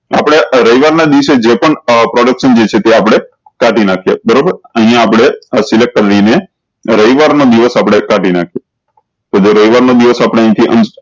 આપળે રવિવાર ના દિવસે જે પણ production જે છે તે આપળે કાઢી નાખ્યે બરોબર અયીયા આપળે રવિવાર ના દિવસે અપડે લાધી નાખ્યે તો જે રવિવાર ના દિવસે આપળે અયી થી